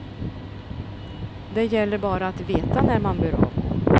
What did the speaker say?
Det gäller bara att veta när man bör avgå.